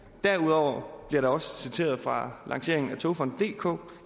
derudover bliver der også citeret fra lanceringen af togfonden dk